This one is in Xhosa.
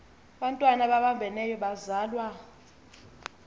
bantwana babambeneyo bazalwa